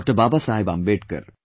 Baba Saheb Ambedkar